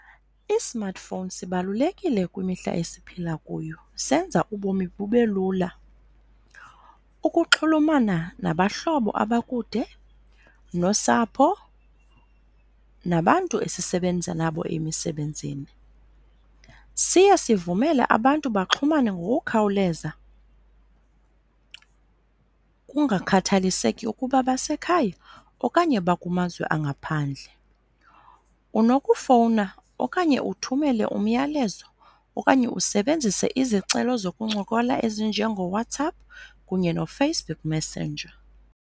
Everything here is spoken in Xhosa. I-smartphone sibalulekile kwimihla esiphila kuyo, senza ubomi bube lula. Ukuxhulumana nabahlobo abakude, nosapho, nabantu esisebenza nabo emisebenzini. Siye sivumele abantu baxhumane ngokukhawuleza kungakhathaliseki ukuba basekhaya okanye bakumazwe angaphandle. Unokufowuna okanye uthumele umyalezo okanye usebenzise izicelo zokuncokola ezinjengoWhatsapp kunye noFacebook Messenger.